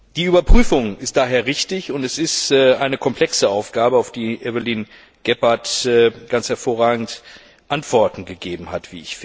Die Überprüfung ist daher richtig. Das ist eine komplexe Aufgabe, auf die Evelyne Gebhardt ganz hervorragende Antworten gegeben hat.